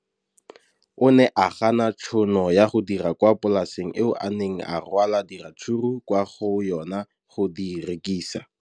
O ne a gana tšhono ya go dira kwa polaseng eo a neng rwala diratsuru kwa go yona go di rekisa.